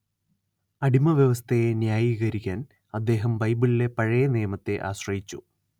അടിമവ്യവസ്ഥയെ ന്യായീകരിക്കാൻ അദ്ദേഹം ബൈബിളിലെ പഴയനിയമത്തെ ആശ്രയിച്ചു